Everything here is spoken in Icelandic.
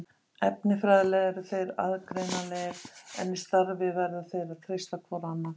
Efnafræðilega eru þeir aðgreinanlegir en í starfi verða þeir að treysta hvor á annan.